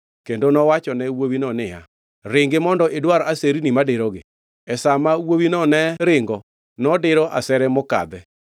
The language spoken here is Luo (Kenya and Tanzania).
kendo nowachone wuowino niya, “Ringi mondo idwar aserni madirogi.” E sa ma wuowino ne ringo, nodiro asere mokadhe.